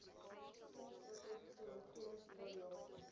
sien strategiese omgewingsevaluasie